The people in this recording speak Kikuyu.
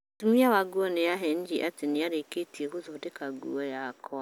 Mũtumi wa nguo nĩ aheenirie atĩ nĩ arĩkĩtie gũthondeka nguo yakwa